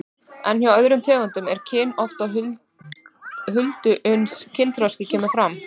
En hjá öðrum tegundum er kyn oft á huldu uns kynþroski kemur fram.